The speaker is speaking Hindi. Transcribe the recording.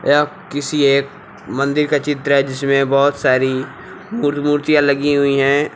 यह किसी एक मंदिर का चित्र है जिसमें बहुत सारी मूर्तियां लगी हुई हैं।